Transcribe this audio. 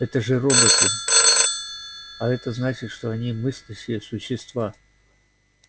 это же роботы а это значит что они мыслящие существа